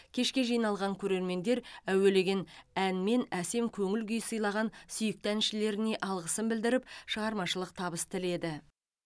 кешке жиналған көрермендер әуелеген әнмен әсем көңіл көңіл күй сыйлаған сүйікті әншілеріне алғысын білдіріп шығармашылық табыс тіледі